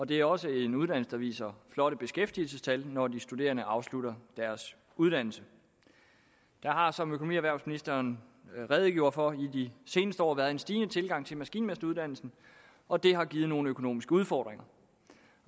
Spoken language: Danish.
det er også en uddannelse der viser flotte beskæftigelsestal når de studerende afslutter deres uddannelse der har som økonomi og erhvervsministeren redegjorde for i de seneste år været en stigende tilgang til maskinmesteruddannelsen og det har givet nogle økonomiske udfordringer